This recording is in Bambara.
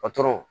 Patɔrɔnw